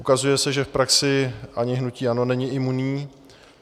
Ukazuje se, že v praxi ani hnutí ANO není imunní.